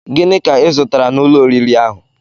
Gịnị ka I zụtara n'ụlọ oriri ahụ?